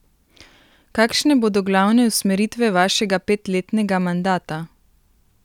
Kakšne bodo glavne usmeritve vašega petletnega mandata?